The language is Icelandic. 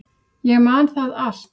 Ég man það allt.